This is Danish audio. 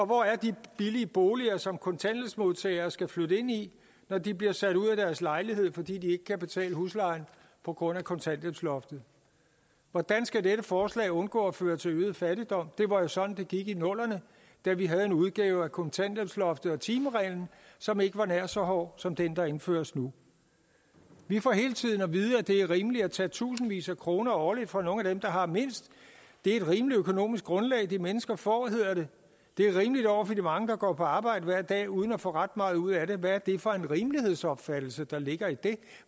hvor er de billige boliger som kontanthjælpsmodtagere skal flytte ind i når de bliver sat ud af deres lejlighed fordi de ikke kan betale huslejen på grund af kontanthjælpsloftet hvordan skal dette forslag undgå at føre til øget fattigdom det var sådan det gik i nullerne da vi havde en udgave af kontanthjælpsloftet og timereglen som ikke var nær så hård som den der indføres nu vi får hele tiden at vide at det er rimeligt at tage tusindvis af kroner årligt fra nogle af dem der har mindst det er et rimeligt økonomisk grundlag de mennesker får hedder det det er rimeligt over for de mange der går på arbejde hver dag uden at få ret meget ud af det hvad er det for en rimelighedsopfattelse der ligger i det